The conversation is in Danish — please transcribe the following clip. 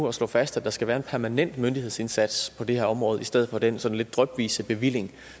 at slå fast at der skal være en permanent myndighedsindsats på det her område i stedet for den sådan lidt drypvise bevilling